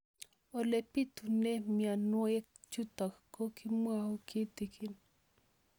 Ole pitune mionwek chutok ko kimwau kitig'ín